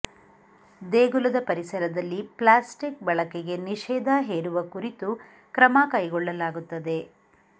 ದೇಗುಲದ ಪರಿಸರದಲ್ಲಿ ಪ್ಲಾಸ್ಟಿಕ್ ಬಳಕೆಗೆ ನಿಷೇಧ ಹೇರುವ ಕುರಿತು ಕ್ರಮ ಕೈಗೊಳ್ಳಲಾಗುತ್ತದೆ